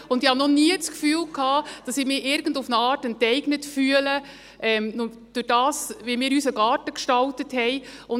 Und ich hatte noch nie das Gefühl, dass auf irgendeine Art enteignet zu sein, dadurch wie wir unseren Garten gestaltet haben.